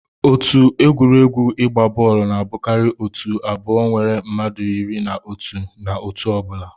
Otu egwuregwu igba bọọlụ na abụkarị otu abụọ nwere mmadụ iri na otụ na otu ọ bụla